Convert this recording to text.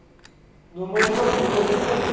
घुमवती का? घुमवती पण